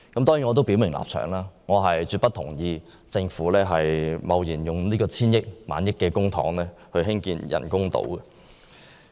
當然，我要表明立場，我絕不同意政府貿然花費數以千億元或1萬億元公帑興建人工島。